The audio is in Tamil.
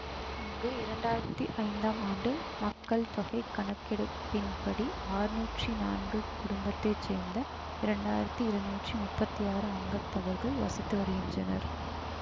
இங்கு இரண்டாயிரத்தி ஐந்தாம் ஆண்டு மக்கள் தொகை கணக்கெடுப்பின்படி அறுநூற்றி நான்கு குடும்பத்தை சேர்ந்த இரண்டாயிரத்தி இருநூற்றி முப்பத்தி ஆறு அங்கத்தவர்கள் வசித்து வருகின்றனர்